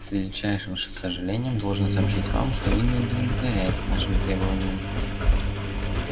с величайшим сожалением должен сообщить вам что вы не удовлетворяете нашим требованиям